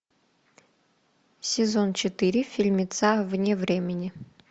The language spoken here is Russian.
сезон четыре фильмеца вне времени